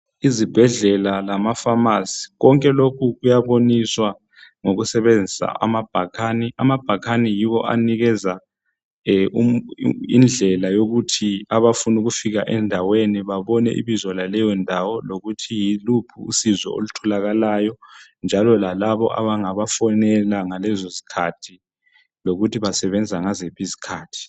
Izibhedlela lamaphamacy konke lokhu kuyaboniswa ngokusetshenziswa amabhakani amabhakani yiwo anikeza umuntu indlela yokuthi abafuna ukufika endaweni babone ibizo laleyo ndawo lokuthi yikuphi usizo olutholaka layo njalo lalaba abangabafonela ngalezo skhathi lokuthi ngoba abangabafonela ngaleso sikhathi